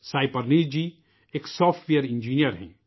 سائیں پرنیت جی ، ایک software engineer ہیں